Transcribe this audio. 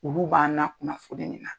Olu b'an nakunnafoni ni na.